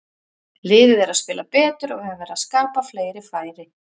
Liðið er að spila betur og við höfum verið að skapa fleiri færi.